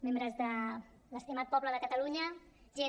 membres de l’estimat poble de catalunya gent